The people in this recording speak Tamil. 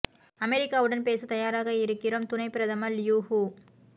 அமெரிக்கா உடன் பேச தயாராக இருக்கிறோம் துணை பிரதமர் லியூ ஹீ